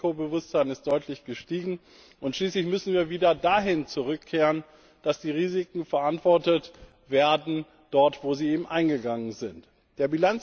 Das Risikobewusstsein ist deutlich gestiegen, und schließlich müssen wir wieder dahin zurückkehren, dass die Risiken dort verantwortet werden, wo sie eingegangen werden.